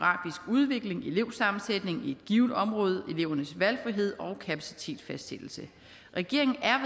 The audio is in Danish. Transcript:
udvikling elevsammensætningen i et givent område elevernes valgfrihed og kapacitetsfastsættelse regeringen er